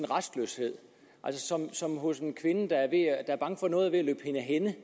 rastløshed som hos en kvinde der er bange for at noget er ved at løbe hende af hænde